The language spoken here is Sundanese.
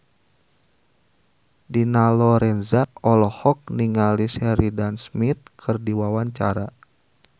Dina Lorenza olohok ningali Sheridan Smith keur diwawancara